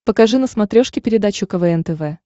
покажи на смотрешке передачу квн тв